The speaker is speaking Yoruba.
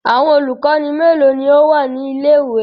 Awọn olukọni melo ni o wa ni ile-iwe?